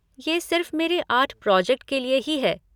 ये सिर्फ़ मेरे आर्ट प्रोजेक्ट के लिए ही है।